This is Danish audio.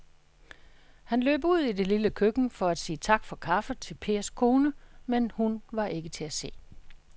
Han løb ud i det lille køkken for at sige tak for kaffe til Pers kone, men hun var ikke til at se.